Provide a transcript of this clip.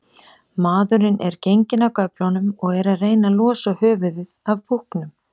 Maðurinn er genginn af göflunum og er að reyna losa höfuðið af búknum.